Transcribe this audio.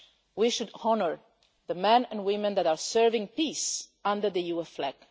We should honour the men and women that are serving peace under the EU